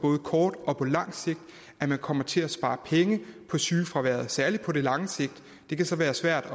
kort og på lang sigt kommer til at spare penge på sygefraværet særlig på lang sigt det kan så være svært